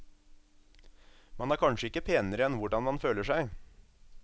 Man er kanskje ikke penere enn hvordan man føler seg.